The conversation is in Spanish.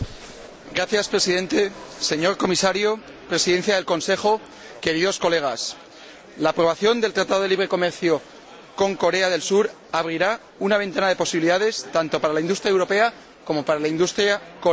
Señor Presidente, señor Comisario, Presidencia del Consejo, queridos colegas, la aprobación del Tratado de Libre Comercio con Corea del Sur abrirá una ventana de posibilidades tanto para la industria europea como para la industria coreana.